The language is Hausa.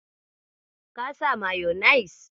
Ka saka mayonis?